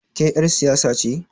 Ke ƴar siyasa ce?